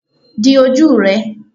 di oju rẹ!